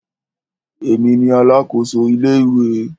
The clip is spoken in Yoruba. Èmi ni alákòso ilé ìwé.